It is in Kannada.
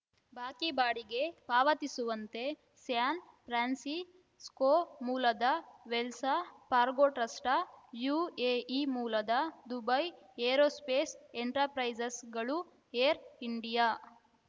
ಬಾಕಿ ಬಾಡಿಗೆ ಪಾವತಿಸುವಂತೆ ಸ್ಯಾನ್‌ಫ್ರಾನ್ಸಿಸ್ಕೋ ಮೂಲದ ವೆಲ್ಸ ಫಾರ್ಗೋ ಟ್ರಸ್ಟ್‌ ಯುಎಇ ಮೂಲದ ದುಬೈ ಏರೋಸ್ಪೇಸ್‌ ಎಂಟರ ಪ್ರೈಸಸ್‌ಗಳು ಏರ್‌ ಇಂಡಿಯಾ